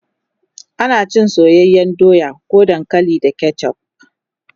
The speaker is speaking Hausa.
ana cin soyayyan doya ko dankali da ketchuf